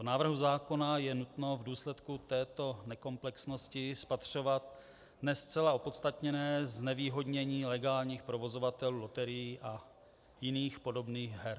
V návrhu zákona je nutno v důsledku této nekomplexnosti spatřovat ne zcela opodstatněné znevýhodnění legálních provozovatelů loterií a jiných podobných her.